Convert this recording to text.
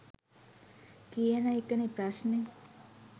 කියන එක නේ ප්‍රශ්නේ.